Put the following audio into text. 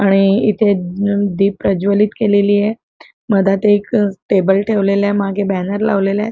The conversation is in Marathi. आणि इथे द द दीप प्रज्वलित केलेलीय मधात एक टेबल ठेवलेलाय मागे बॅनर लावलेला आहे.